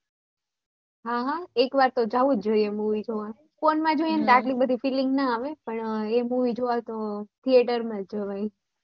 હા હા એકવાર તો જોવા જવુ જ જોયે movie જોવા phone માં આટલી બધી feeling ના આવે પણ એ movie જોવા theater માં જ જવાય